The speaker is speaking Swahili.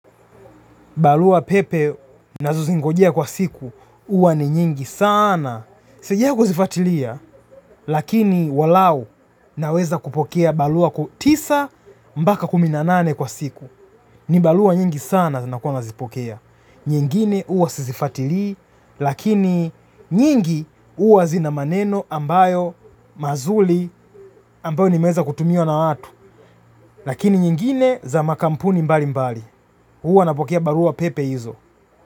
Barua pepe nazo zingojea kwa siku. Huwa ni nyingi saana. Sijawahi kuzifuatilia lakini walau naweza kupokea barua tisa mpaka kumi na nane kwa siku. Ni barua nyingi saana zinakuwa nazipokea. Nyingine huwa sizifatilii. Lakini nyingi huwa zina maneno ambayo mazuri ambayo nimeweza kutumiwa na watu. Lakini nyingine za makampuni mbali mbali. Huwa napokea barua pepe hizo.